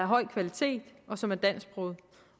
høj kvalitet og som er dansksproget